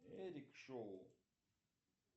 эдик шоу